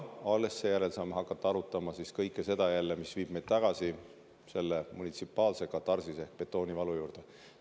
Alles seejärel saame jälle hakata arutama kõike seda, mis viib meid tagasi selle munitsipaalse katarsise ja betoonivalu juurde.